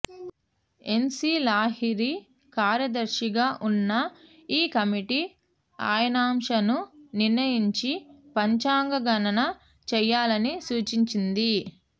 NC Lahiri కార్యదర్శిగా ఉన్న ఈ కమిటీ అయనాంశను నిర్ణయించి పంచాంగ గణన చేయాలని సూచించింది